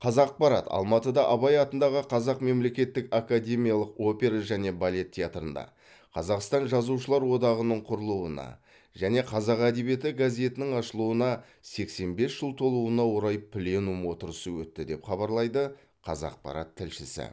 қазақпарат алматыда абай атындағы қазақ мемлекеттік академиялық опера және балет театрында қазақстан жазушылар одағының құрылуына және қазақ әдебиеті газетінің ашылуына сексен бес жыл толуына орай пленум отырысы өтті деп хабарлайды қазақпарат тілшісі